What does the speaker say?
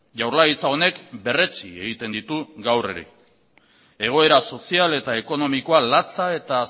jaurlaritza honek berretsi egiten ditu gaur ere egoera sozial eta ekonomikoa latza eta